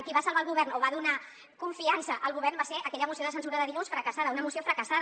qui va salvar el govern o va donar confiança al govern va ser aquella moció de censura de dilluns fracassada una moció fracassada